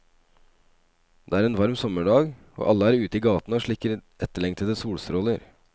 Det er en varm sommerdag, og alle er ute i gatene og slikker etterlengtede solstråler.